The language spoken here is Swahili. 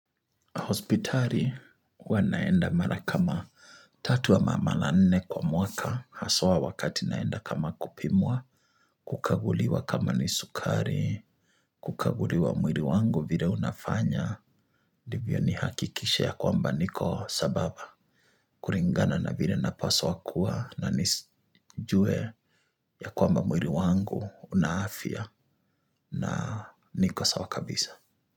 Hospitari huwa naenda mara kama tatu ama mara nne kwa mwaka, haswa wakati naenda kama kupimwa, kukaguliwa kama ni sukari, kukaguliwa mwiri wangu vile unafanya, ndivyo nihakikishe ya kwamba niko sambaba, kuringana na vile napaswa kuwa na nijue ya kwamba mwiri wangu una afya na niko sawa kabisa.